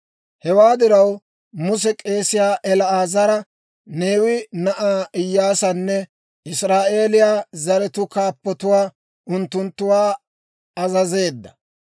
Hewaa diraw, Muse k'eesiyaa El"aazara, Neewe na'aa Iyaasanne Israa'eeliyaa zaratuu kaappatuwaa unttunttuwaa azazeedda.